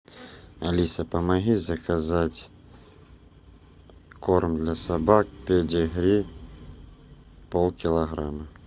алиса помоги заказать корм для собак педигри полкилограмма